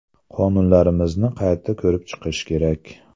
Qonunlarimizni qayta ko‘rib chiqish kerak.